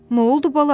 Nə oldu bala?